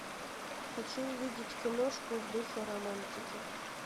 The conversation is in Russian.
хочу увидеть киношку в духе романтики